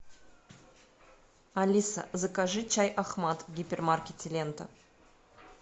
алиса закажи чай ахмад в гипермаркете лента